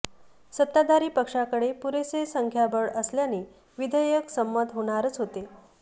सत्ताधारी पक्षाकडे पुरेसे संख्याबळ असल्याने विधेयक संमत होणारच होते